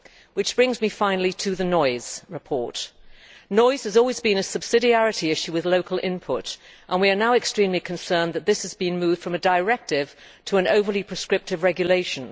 This brings me, finally, to the noise report Noise has always been a subsidiarity issue with local input, and we are now extremely concerned that this has been moved from a directive to an overly prescriptive regulation.